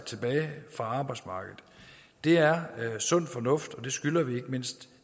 tilbage fra arbejdsmarkedet det er sund fornuft og det skylder vi ikke mindst